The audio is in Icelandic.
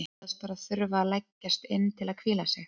Hún sagðist bara þurfa að leggjast inn til að hvíla sig.